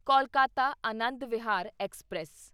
Kolkata Anand Vihar express